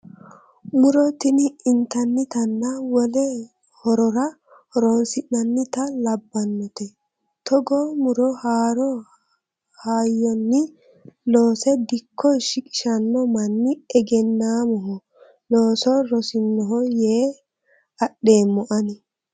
Muro tini intannittanna wole horora horonsi'nannitta labbanote togo muro haaro hayyonni loosse dikko shiqishano manni egennamoho looso rosinoho yee adheemmo ani.